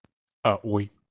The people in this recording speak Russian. а ой